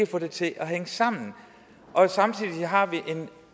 få det til at hænge sammen og samtidig har vi en